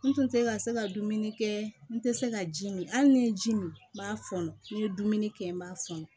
N tun tɛ ka se ka dumuni kɛ n tɛ se ka ji min hali ni n ye ji min n b'a fɔnɔ ni n ye dumuni kɛ n b'a fɔnɔ